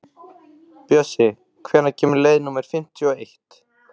Bjössi, hvenær kemur leið númer fimmtíu og eitt?